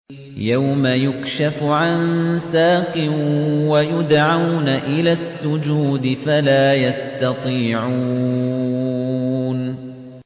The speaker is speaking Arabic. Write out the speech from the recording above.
يَوْمَ يُكْشَفُ عَن سَاقٍ وَيُدْعَوْنَ إِلَى السُّجُودِ فَلَا يَسْتَطِيعُونَ